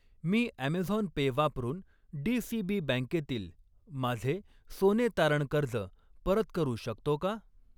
मी Amazon Pay वापरून DCB बँकेतील माझे सोने तारण कर्ज परत करू शकतो का?